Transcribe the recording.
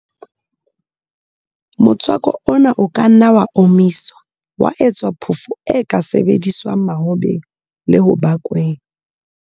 Motswako ona o ka nna wa omiswa, wa etswa phofo e ka sebediswang mahobeng le ho bakweng.